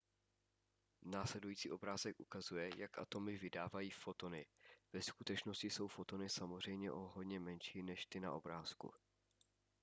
následující obrázek ukazuje jak atomy vydávají fotony ve skutečnosti jsou fotony samozřejmě o hodně menší než ty na obrázku